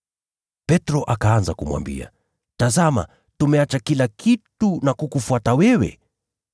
Ndipo Petro akamjibu, “Tazama, tumeacha kila kitu na kukufuata wewe!”